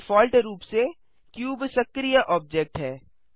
default रूप से cube सक्रीय ऑब्जेक्ट है